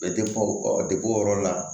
o yɔrɔ la